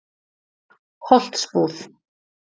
Holtsbúð